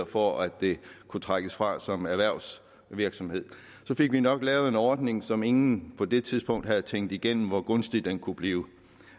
for at det kunne trækkes fra som erhvervsvirksomhed fik vi nok lavet en ordning som ingen på det tidspunkt havde tænkt igennem hvor gunstig kunne blive